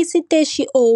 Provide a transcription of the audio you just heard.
Isiteshi O,